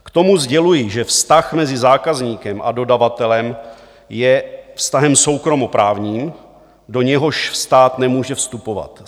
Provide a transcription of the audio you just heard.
K tomu sděluji, že vztah mezi zákazníkem a dodavatelem je vztahem soukromoprávním, do něhož stát nemůže vstupovat.